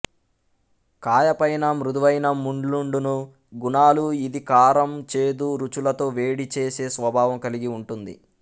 కాయపైన మృదువైన ముండ్లుండును గుణాలు ఇది కారం చేదు రుచులతో వేడి చేసే స్వభావం కలిగి ఉంటుంది